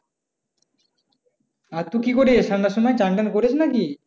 আর তুই কি করিস ঠান্ডার সময়? চ্যান-ট্যান করিস নাকি?